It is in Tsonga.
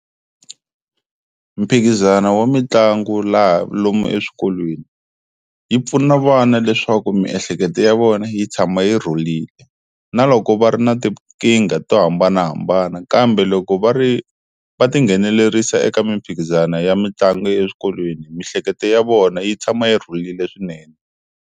Mphikizano wa mitlangu laha lomu eswikolweni yi pfuna vana leswaku miehleketo ya vona yi tshama yi rhulile na loko va ri na tinkingha to hambanahambana kambe loko va ri va tinghenelerisa eka mimphikizano ya mitlangu eswikolweni mihleketo ya vona yi tshama yi rhulile swinene.